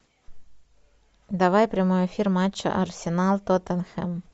давай прямой эфир матча арсенал тоттенхэм